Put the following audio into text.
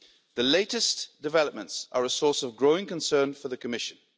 The latest developments are a source of growing concern for the Commission.